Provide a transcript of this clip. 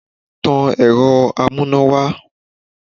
Tan ẹ̀rọ amúnáwá!